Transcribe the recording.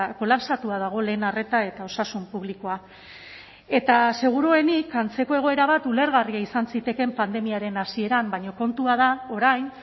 kolapsatua dago lehen arreta eta osasun publikoa eta seguruenik antzeko egoera bat ulergarria izan zitekeen pandemiaren hasieran baina kontua da orain